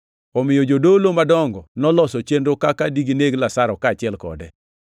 Omiyo jodolo madongo noloso chenro kaka digineg Lazaro kaachiel kode,